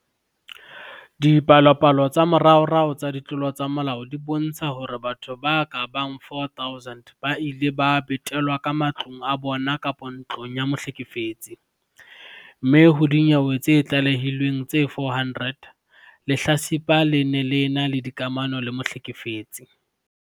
Dipalopalo tsa moraorao tsa ditlolo tsa molao di bontsha hore batho ba ka bang 4 000 ba ile ba betelwa ka matlong a bona kapa ntlong ya mohlekefetsi, mme ho dinyewe tse tlalehilweng tse 400, lehlatsipa le ne le ena le dikamano le mohlekefetsi.